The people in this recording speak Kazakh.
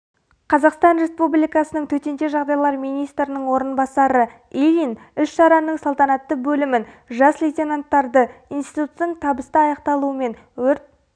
қазақстан республикасының төтенше жағдайлар министрінің орынбасары ильин іс-шараның салтанатты бөлімін жас лейтенантарды институттың табысты аяқталуымен өрт